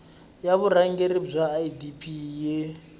ya vurhangeri bya idp yi